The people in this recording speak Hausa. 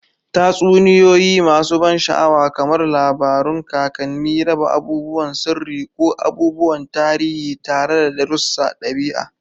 Tatsuniyoyi masu ban sha'awa, kamar labarun kakanni, raba abubuwan sirri ko abubuwan tarihi tare da darussan ɗabi'a.